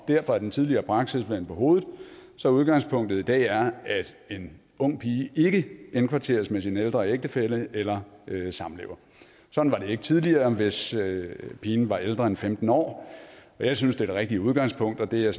derfor er den tidligere praksis vendt på hovedet så udgangspunktet i dag er at en ung pige ikke indkvarteres med sin ældre ægtefælle eller samlever sådan var det ikke tidligere hvis pigen var ældre end femten år og jeg synes det er det rigtige udgangspunkt og det er